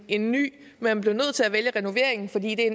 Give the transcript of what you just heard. en ny men man bliver nødt til at vælge renovering fordi det er